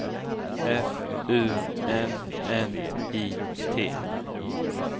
F U N N I T